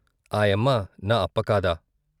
ఆయమ్మ నా అప్ప కాదా.